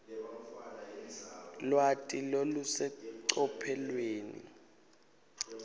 lwati lolusecophelweni